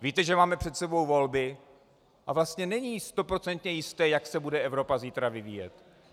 Víte, že máme před sebou volby a vlastně není stoprocentně jisté, jak se bude Evropa zítra vyvíjet.